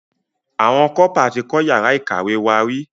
Àwọn Kọ́pà tí kọ́ yàrá ìkàwé wá rí.